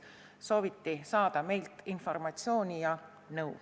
Meilt sooviti saada informatsiooni ja nõu.